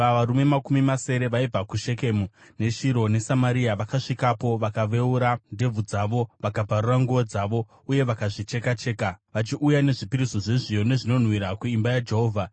varume makumi masere vaibva kuShekemu, neShiro neSamaria vakasvikapo vakaveura ndebvu dzavo, vakabvarura nguo dzavo uye vakazvicheka-cheka, vachiuya nezvipiriso zvezviyo nezvinonhuhwira kuimba yaJehovha.